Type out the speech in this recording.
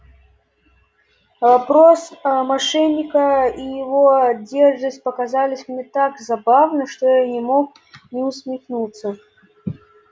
вопрос аа мошенника и его дерзость показались мне так забавны что я не мог не усмехнуться